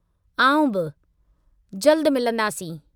आउं बि, जल्दु मिलंदासीं!